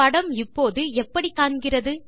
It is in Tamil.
படம் இப்போது எப்படி காண்கிறது